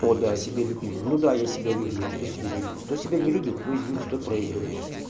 ода о себе любимом ну да я себя люблю а кто тебя не любит кто себя не любит ну извините тот проигрывает